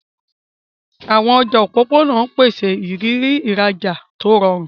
Àwọn ọjà òpópónà ń pèsè ìrírí ìrajà tó rọrùn.